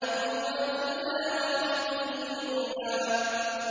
إِنْ هُوَ إِلَّا وَحْيٌ يُوحَىٰ